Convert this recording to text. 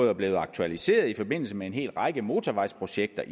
er blevet aktualiseret i forbindelse med især en hel række motorvejsprojekter